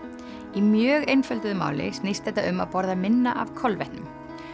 í mjög einfölduðu máli snýst þetta um að borða minna af kolvetnum